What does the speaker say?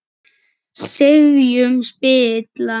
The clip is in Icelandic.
sifjum spilla